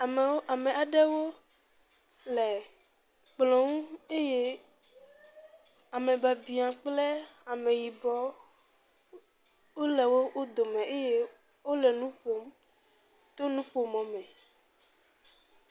Amewo, ame aɖewo le kplɔ ŋu eye amebiabia kple ameyibɔ wole wo dome eye wole nu kom to nuƒomɔ me.